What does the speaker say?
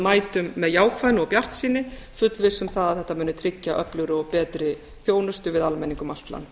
mætum með jákvæðni og bjartsýni fullviss um það að þetta muni tryggja öflugri og betri þjónustu við almenning um allt land